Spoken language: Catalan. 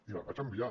i la vaig enviar